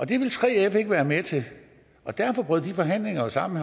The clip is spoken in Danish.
det ville 3f ikke være med til og derfor brød de forhandlinger jo sammen